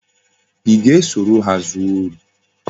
I ga-esoro ha zuo ori?